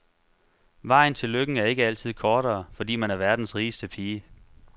Vejen til lykken er ikke altid kortere, fordi man er verdens rigeste pige.